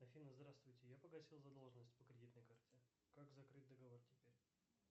афина здравствуйте я погасил задолженность по кредитной карте как закрыть договор теперь